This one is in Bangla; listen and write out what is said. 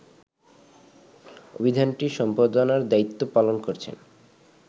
অভিধানটি সম্পাদনার দায়িত্ব পালন করেছেন